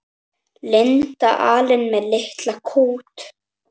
Linda alein með litla kút.